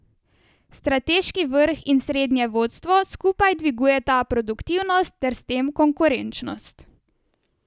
Strateški vrh in srednje vodstvo skupaj dvigujeta produktivnost ter s tem konkurenčnost.